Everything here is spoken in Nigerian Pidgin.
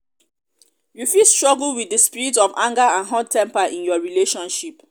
you fit struggle with di spirit of anger and hot-temper in your relationship.